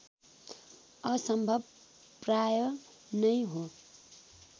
असम्भव प्राय नै हो